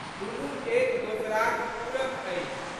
दुनू एक दोसराक पूरक अछि।